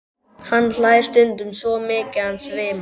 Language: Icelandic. Hann hlær stundum svo mikið að hann svimar.